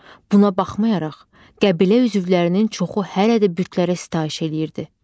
Buna baxmayaraq, qəbilə üzvlərinin çoxu hələ də bütlərə sitayiş eləyirdi.